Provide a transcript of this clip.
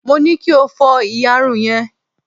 mo ni kí o fó iyarun yrn